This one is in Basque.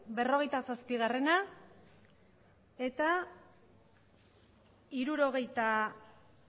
berrogeita zazpigarrena eta hirurogeita